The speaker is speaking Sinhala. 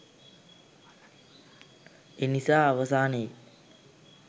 එනිසා අවසානයේ